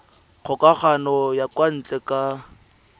kgokagano ya kwa ntle ka